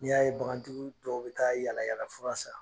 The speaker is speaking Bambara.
N'i y'a ye bagantigi dɔw bɛ taa yaalayaalalafura san.